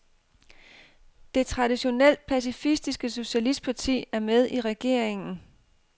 Det traditionelt pacifistiske socialistparti er med i regeringen.